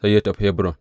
Sai ya tafi Hebron.